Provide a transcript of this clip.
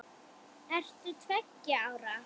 Ert þú tveggja ára?